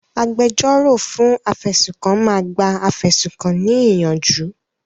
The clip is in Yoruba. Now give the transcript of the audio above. Agbẹjọ́rò fún afẹ̀sùnkàn máa gba afẹ̀sùnkàn ní ìyànjú.